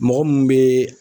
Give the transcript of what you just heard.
Mɔgɔ mun bɛ